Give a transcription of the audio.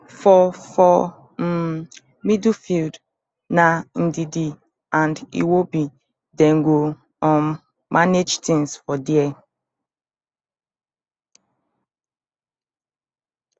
for for um midfield na ndidi and iwobi dem go um manage tins for dia